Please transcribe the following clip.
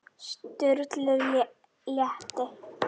Elsku afi Dalli er látinn.